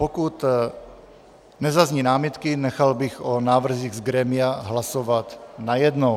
Pokud nezazní námitky, nechal bych o návrzích z grémia hlasovat najednou.